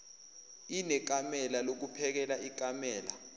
inekamela lokuphekela ikamela